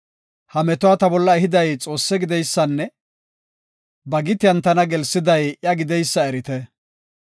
ha metuwa ta bolla ehiday Xoosse gideysanne ba gitiyan tana gelsiday iya gideysa erite.